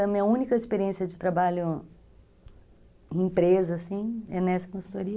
É a minha única experiência de trabalho em empresa, assim, é nessa consultoria.